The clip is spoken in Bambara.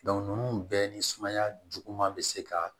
ninnu bɛɛ ni sumaya juguman bɛ se ka